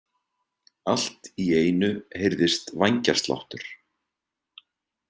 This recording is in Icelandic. Allt í einu heyrðist vængjasláttur.